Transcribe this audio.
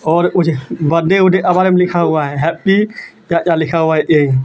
और लिखा हुआ हैं हैपी .]